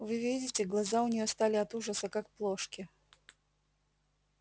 вы видите глаза у неё стали от ужаса как плошки